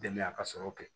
Denya ka sɔrɔ kɛ